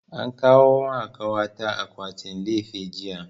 An kawo ma kawa ta akwatin lefe jiya